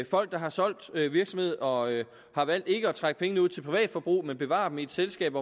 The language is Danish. folk der har solgt virksomhed og har valgt ikke at trække pengene ud til privat forbrug men bevarer dem i et selskab